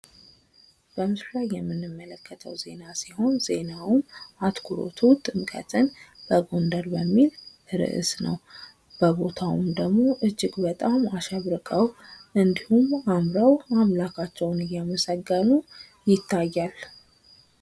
በምስሉ ላይ የምንመለከተው ዜና ሲሆን ዜናውም አትኩሮቱ ጥምቀትን በጎንደር በሚል ርዕስ ነው። በቦታውም ደሞ እጅግ በጣም አሸብርቀው እንዲሁም አምረው አምላካቸውን እያመሰገኑ ይታያል።